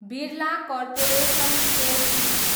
Birla corporation Ltd